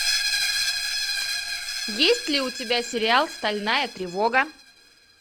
есть ли у тебя сериал стальная тревога